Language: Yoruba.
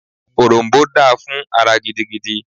Òrom̀bó dáa fún ara gidigidi